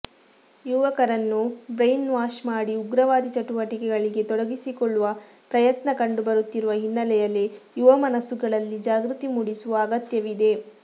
ಯುವಕರನ್ನು ಬ್ರೈನ್ವಾಶ್ ಮಾಡಿ ಉಗ್ರವಾದಿ ಚಟು ವಟಿಕೆಗಳಿಗೆ ತೊಡಗಿಸಿಕೊಳ್ಳುವ ಪ್ರಯತ್ನ ಕಂಡುಬರುತ್ತಿರುವ ಹಿನ್ನೆಲೆಯಲ್ಲಿ ಯುವಮನಸ್ಸುಗಳಲ್ಲಿ ಜಾಗೃತಿ ಮೂಡಿಸುವ ಅಗತ್ಯವಿದೆ